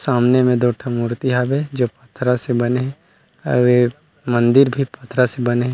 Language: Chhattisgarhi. सामने में दो ठो मूर्ति हवे जो पथरा से बने हे अउ ए मंदिर भी पथरा से बने हे ।